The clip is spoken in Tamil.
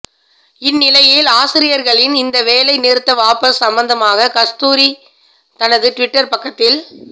இந்நிலையில் ஆசியர்களின் இந்த வேலை நிறுத்த வாபஸ் சம்மந்தமாக கஸ்தூரி தனது டிவிட்டர் பக்கத்தில்